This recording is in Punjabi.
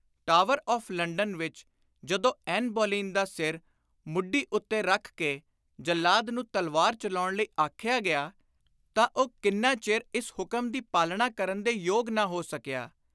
ਟਾਵਰ ਆਫ਼ ਲੰਡਨ ਵਿਚ ਜਦੋਂ ਐਨ ਬੋਲੀਨ ਦਾ ਸਿਰ ਮੁੱਢੀ ਉੱਤੇ ਰੱਖ ਕੇ ਜੱਲਾਦ ਨੂੰ ਤਲਵਾਰ ਚਲਾਉਣ ਲਈ ਆਖਿਆ ਗਿਆ ਤਾਂ ਉਹ ਕਿੰਨਾ ਚਿਰ ਇਸ ਹੁਕਮ ਦੀ ਪਾਲਣਾ ਕਰਨ ਦੇ ਯੋਗ ਨਾ ਹੋ ਸਕਿਆ।